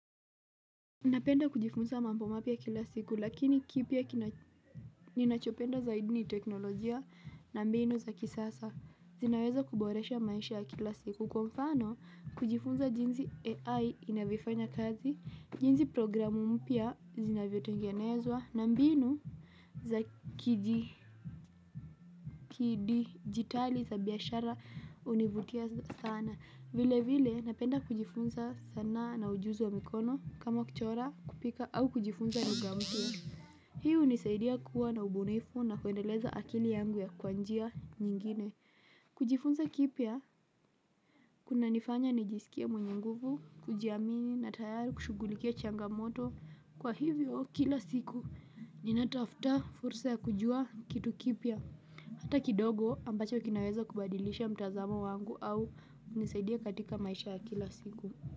Napenda kujifunza mambo mapya kila siku lakini kipya ninachopenda zaidi ni teknolojia na mbinu za kisasa. Zinaweza kuboresha maisha ya kila siku. Kwa mfano, kujifunza jinsi AI inavyofanya kazi, jinsi programu mpya zinavyotengenezwa na mbinu za kidijitali za biashara hunivutia sana. Vile vile napenda kujifunza sanaa na ujuzi wa mikono kama kuchora, kupika au kujifunza lugha mpya. Hii hunisaidia kuwa na ubunifu na kuendeleza akili yangu kwa njia nyingine. Kujifunza kipya kunanifanya nijisikie mwenye nguvu, kujiamini na tayari kushughulikia changamoto. Kwa hivyo, kila siku ninatafuta fursa ya kujua kitu kipia. Hata kidogo ambacho kinaweza kubadilisha mtazamo wangu au kunisaidia katika maisha ya kila siku.